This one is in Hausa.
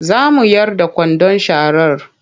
Za mu yar da kwandon sharar.